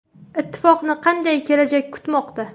Ittifoqni qanday kelajak kutmoqda?